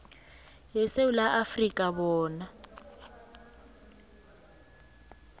yesewula afrika bona